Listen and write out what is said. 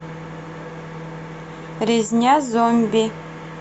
резня зомби